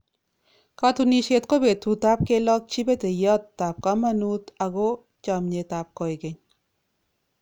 Katunisyet ko betutab kelokchi peteyotab komonut ako chomnyetab koikeny.